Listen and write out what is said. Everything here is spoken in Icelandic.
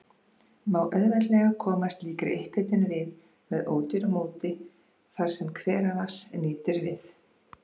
Má auðveldlega koma slíkri upphitun við með ódýru móti þar, sem hveravatns nýtur við.